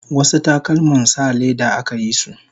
wasu takalman sa leda akayisu